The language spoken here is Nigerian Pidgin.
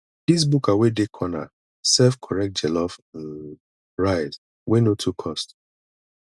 dis buka wey dey corner serve correct jollof um rice wey no too cost